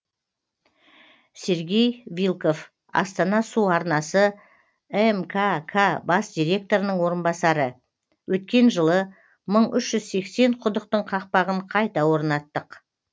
сергей вилков астана су арнасы мкк бас директорының орынбасары өткен жылы мың үш жүз сексен құдықтың қақпағын қайта орнаттық